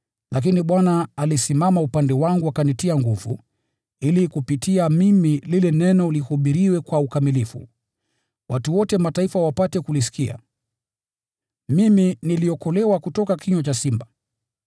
Lakini Bwana alisimama upande wangu akanitia nguvu, ili kupitia kwangu lile Neno lihubiriwe kwa ukamilifu, watu wote Mataifa wapate kulisikia. Mimi niliokolewa kutoka kinywa cha simba.